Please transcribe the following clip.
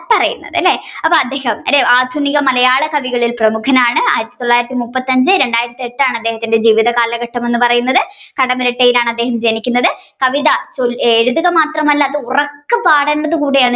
പറയുന്നത്. അല്ലെ അദ്ദേഹം ആധുനിക മലയാള കവികളിൽ പ്രമുഖനാണ് ആയിരത്തിത്തൊള്ളായിരത്തി മുൻപത്തിഅഞ്ച് രണ്ടായിരത്തി എട്ട് ആണ് അദ്ദേഹത്തിന്റെ ജീവിത കാലഘട്ടം എന്നുപറയുന്നത് കടമ്മനിട്ടയിലാണ് അദ്ദേഹം ജനിക്കുന്നത് കവിത എഴുതുക മാത്രമല്ല അത് ഉറക്കെ പാഠേണ്ടത് കൂടിയാണ്